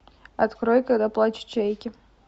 открой когда плачут чайки